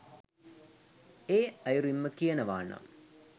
එ'යුරින්ම කියනවා නම්